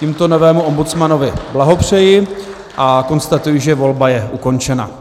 Tímto novému ombudsmanovi blahopřeji a konstatuji, že volba je ukončena.